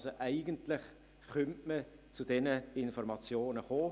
Also könnte man eigentlich zu diesen Informationen kommen.